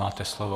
Máte slovo.